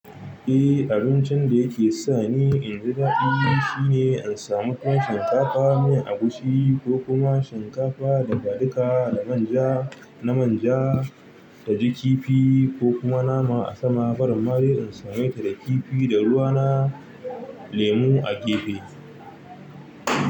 Eh abincin da yake sa ni in ji daɗi shine in samu tuwon shinkafa miyan agushi ko kuma shinkafa dafaduka da manja na manja, taji kifi ko kuma nama a sama. Barin ma dai in same ta da kifi da ruwa na lemu a gefe.